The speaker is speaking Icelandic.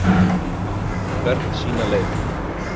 Hvert sína leið.